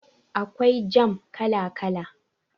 Akwai jam kala kala